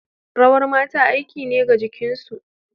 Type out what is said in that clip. Rawar mata aiki ne ga jikinsu.